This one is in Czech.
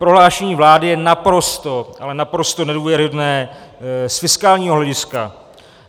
Prohlášení vlády je naprosto, ale naprosto nedůvěryhodné z fiskálního hlediska.